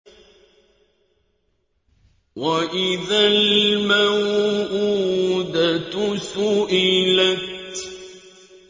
وَإِذَا الْمَوْءُودَةُ سُئِلَتْ